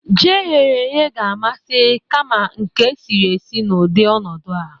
Jí e ghere eghe ga-amasị kama nke e siri esi n'udị ọnọdu a.